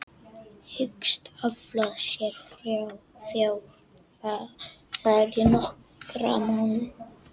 Hyggst afla sér fjár þar í nokkra mánuði.